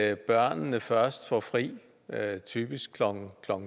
at børnene først får fri typisk klokken